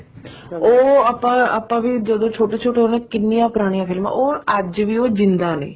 ਉਹ ਆਪਾਂ ਵੀ ਜਦੋਂ ਛੋਟੇ ਛੋਟੇ ਹੁੰਦੇ ਸੀ ਕਿੰਨੀਆਂ ਪੁਰਾਣੀਆਂ ਫ਼ਿਲਮਾ ਉਹ ਅੱਜ ਵੀ ਜਿੰਦਾਂ ਨੇ